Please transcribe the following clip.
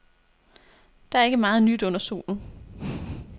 Der er ikke meget nyt under solen.